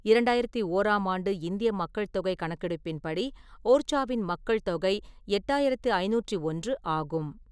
இரண்டாயிரத்து ஓராம் ஆண்டு இந்திய மக்கள் தொகை கணக்கெடுப்பின்படி, ஓர்ச்சாவின் மக்கள் தொகை எட்டாயிரத்து ஐநூற்று ஒன்று ஆகும்.